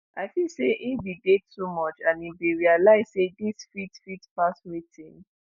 “i feel say im bin dey too much and im bin realise say dis fit fit pass wetin